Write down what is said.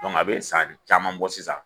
a bɛ san caman bɔ sisan.